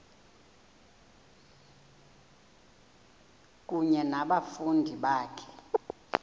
kunye nabafundi bakho